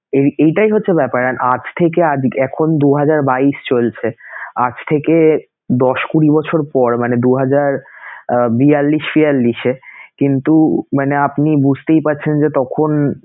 এই~ এইটাই হচ্ছে ব্যাপার and আজ থেকে এখন দু হাজার বাইশ চলছে, আজ থেকে দশ, কুঁড়ি বছর পর মানে দু হাজার আহ বিয়াল্লিশ, ছিয়াল্লিশে কিন্তু মানে আপনি বুঝতেই পারছেন যে তখন